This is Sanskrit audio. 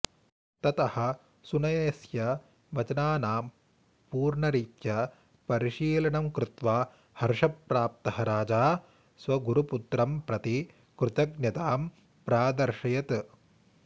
ततः सुनयस्य वचनानां पूर्णरीत्या परिशीलनं कृत्वा हर्षप्राप्तः राजा स्वगुरुपुत्रं प्रति कृतज्ञतां प्रादर्शयत्